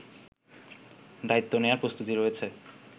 দায়িত্বনেয়ার প্রস্তুতি রয়েছে